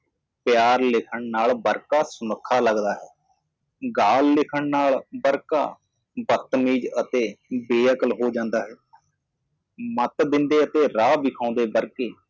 ਪਿਆਰ ਲਿਖ ਕੇ ਪੱਤੇ ਸੋਹਣੇ ਲੱਗਦੇ ਹਨ ਅਪਮਾਨਜਨਕ ਲਿਖਣਾ ਪੇਜ ਨੂੰ ਰੁੱਖਾ ਅਤੇ ਬੇਸਮਝ ਬਣਾਉਂਦਾ ਹੈ ਸਿਆਣਪ ਦੇਣਾ ਅਤੇ ਰਸਤਾ ਦਿਖਾਉਣਾ